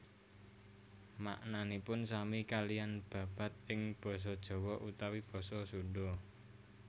Maknanipun sami kaliyan babad ing basa Jawa utawi basa Sunda